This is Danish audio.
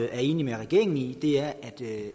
er enig med regeringen i er at